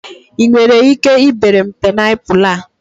I nwere ike ibere m paịnapụlụ a?